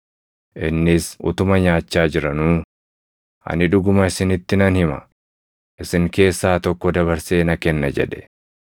Innis utuma nyaachaa jiranuu, “Ani dhuguma isinitti nan hima; isin keessaa tokko dabarsee na kenna” jedhe.